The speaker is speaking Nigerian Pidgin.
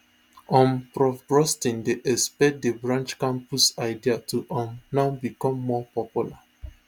um prof brustein dey expect di branchcampus idea to um now become more popular